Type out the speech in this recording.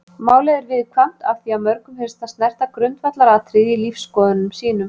Málið er viðkvæmt af því að mörgum finnst það snerta grundvallaratriði í lífsskoðunum sínum.